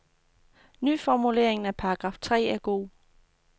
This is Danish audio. Nyformuleringen af paragraf tre er god.